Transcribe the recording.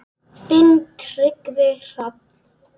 Þinn Tryggvi Hrafn.